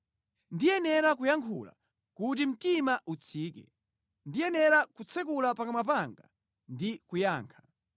Ndiyenera kuyankhula kuti mtima utsike; ndiyenera kutsekula pakamwa panga ndi kuyankha.